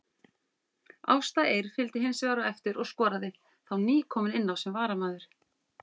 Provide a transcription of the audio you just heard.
Ásta Eir fylgdi hinsvegar á eftir og skoraði, þá nýkomin inná sem varamaður.